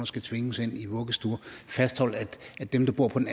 skal tvinges ind i vuggestuer og fastholder at dem der bor på den